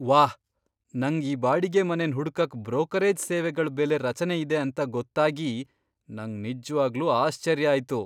ವಾಹ್, ನಂಗ್ ಈ ಬಾಡಿಗೆ ಮನೆನ್ ಹುಡ್ಕಕ್ ಬ್ರೋಕರೇಜ್ ಸೇವೆಗಳ್ ಬೆಲೆ ರಚನೆ ಇದೆ ಅಂತ್ ಗೊತ್ತಾಗಿ ನಂಗ್ ನಿಜ್ವಾಗ್ಲೂ ಆಶ್ಚರ್ಯ ಆಯ್ತು.